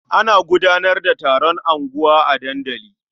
Ana gudanar da taron unguwa a dandali.